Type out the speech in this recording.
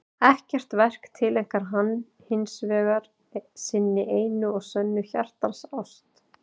Ekkert verk tileinkar hann hins vegar sinni einu og sönnu hjartans ást.